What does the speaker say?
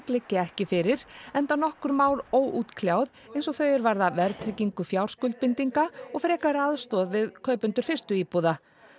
liggi ekki fyrir enda nokkur mál óútkljáð eins og þau er varða verðtryggingu fjárskuldbindinga og frekari aðstoð við kaupendur fyrstu íbúða